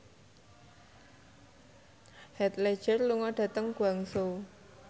Heath Ledger lunga dhateng Guangzhou